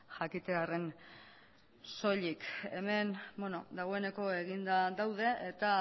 jakitearren soilik hemen dagoeneko eginda daude eta